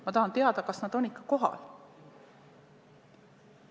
Ma tahan teada, kas nad on ikka kohal.